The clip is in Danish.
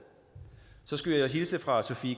så skulle jeg hilse fra sofie